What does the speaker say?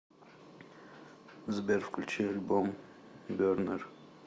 сбер включи альбом бернер